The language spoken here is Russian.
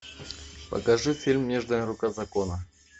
покажи фильм нежная рука закона